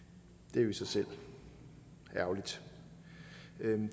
det er jo i sig selv ærgerligt